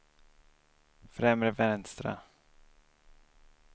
främre vänstra